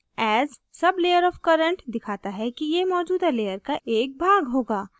as sublayer of current दिखाता है कि यह मौजूदा layer का एक भाग होगा